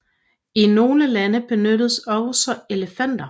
I nogle lande benyttes også elefanter